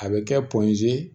A bɛ kɛ